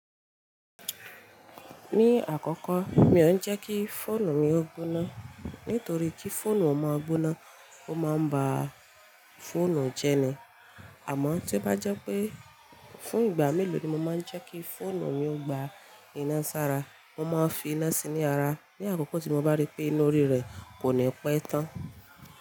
Ní àkọ́kọ́, mi ò ń jẹ́ kí fóònù mi ó gbóná, nítorí kí fóònù ó máa gbóná, ó máa ń ba fóònù jẹ́ ni. Àmọ́ tí ó bá jẹ́ pé fún ìgbà mélòó ni mo máa ń jẹ́ kí fóònù mi ó gba iná sára, mo máa ń fi iná sí ní ara ní àkókò tí mo bá rí pé iná orí rẹ̀ kò ní pẹ́ tán.